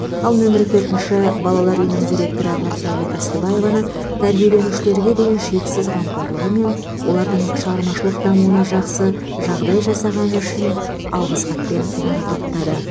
ал нөмірі төртінші балалар үйінің директоры нұрсәуле тастыбаеваны тәрбиеленушілерге деген шексіз қамқорлығы мен олардың шығармашылық дамуына жақсы жағдай жасағаны үшін алғыс хатпен марапаттады